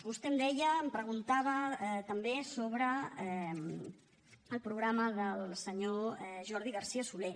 vostè em preguntava també sobre el programa del senyor jordi garcía soler